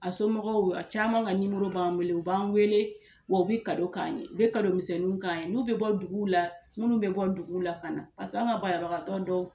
A somɔgɔw a caman ka b'an wele u b'an wele wa u bɛ k'an ye u bɛ misɛnninw k'an ye n'u bɛ bɔ duguw la minnu bɛ bɔ duguw la ka na an ka banabagatɔ dɔw